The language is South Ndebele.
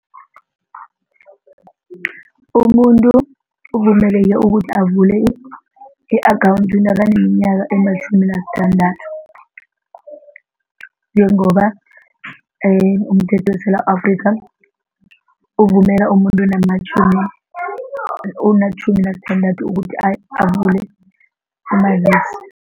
Umuntu uvumeleke ukuthi avule i-akhawundi nakaneminyaka ematjhumi nasithandathu njengoba umthetho weSewula Afrika uvumela umuntu onamatjhumi onatjhumi nasithandathu ukuthi avule umazisi.